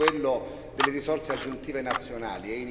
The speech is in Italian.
Il primo è quello delle risorse aggiuntive nazionali.